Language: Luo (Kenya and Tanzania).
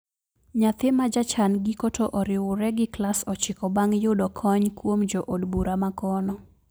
Nyathi majachan giko to oriure gi klas ochiko bang` yudo kony kuom jo od bura makono